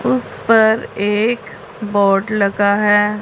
उस पर एक बोर्ड लगा है।